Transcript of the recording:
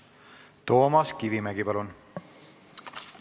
Toomas Kivimägi, palun!